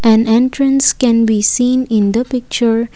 an entrance can be seen in the picture.